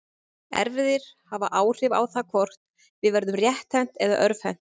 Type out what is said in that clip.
Erfðir hafa áhrif á það hvort við verðum rétthent eða örvhent.